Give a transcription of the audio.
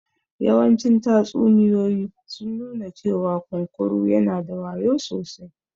Yawancin tatsuniyoyi sun nuna cewa kunkuru yana da wayo sosai